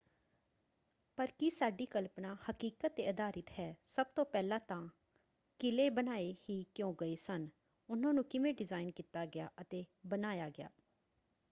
ਪਰ ਕੀ ਸਾਡੀ ਕਲਪਨਾ ਹਕੀਕਤ 'ਤੇ ਆਧਾਰਿਤ ਹੈ? ਸਭ ਤੋਂ ਪਹਿਲਾਂ ਤਾਂ ਕਿਲ੍ਹੇ ਬਣਾਏ ਹੀ ਕਿਉਂ ਗਏ ਸਨ? ਉਨ੍ਹਾਂ ਨੂੰ ਕਿਵੇਂ ਡਿਜ਼ਾਇਨ ਕੀਤਾ ਗਿਆ ਅਤੇ ਬਣਾਇਆ ਗਿਆ?